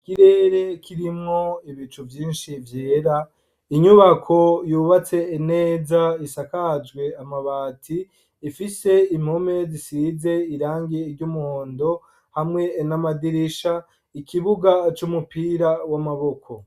Ikirere kirimwo ibicu vyinshi vyera, inyubako yubatse neza isakajwe amabati, ifise impome zisizwe irangi ry'umuhondo hamwe n'amadirisha, ikibuga c'umupira w'amaboko.